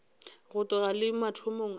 go tloga le mathomong a